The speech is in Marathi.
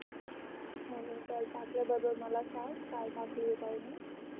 टाकल्या बरोबर मला संग काय टाकल काय नाही